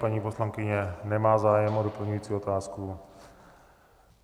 Paní poslankyně nemá zájem o doplňující otázku.